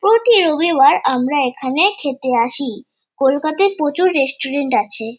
প্রতি রবিবার আমরা এখানে খেতে আসি। কোলকাতায় প্রচুর রেস্টুরেন্ট আছে।